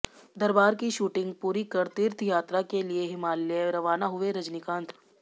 दरबार की शूटिंग पूरी कर तीर्थ यात्रा के लिए हिमालय रवाना हुए रजनीकांत